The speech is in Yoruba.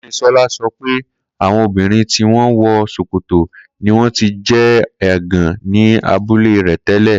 Koinsola sọ pe awọn obinrin ti wọn wọ sokoto ni wọn ti jẹ ẹgan ni abule rẹ tẹlẹ.